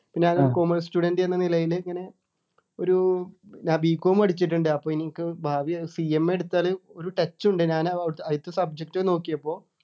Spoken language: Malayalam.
ഇപ്പൊ ഞാന് commerce student എന്ന നിലയില് ഇങ്ങനെ ഒരു ഞാൻ b. com പഠിച്ചിട്ടുണ്ട് അപ്പൊ ഇനി എനിക്ക് ഭാവി CMA എടുത്താല് ഒരു touch ഉണ്ട് ഞാന് ആ അ അതിലത്തെ subject നോക്കിയപ്പോ